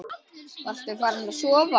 Varstu farin að sofa?